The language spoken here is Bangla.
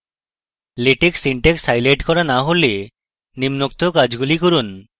latex syntax হাইলাইট করা in হলে নিম্নোক্ত কাজগুলি করুন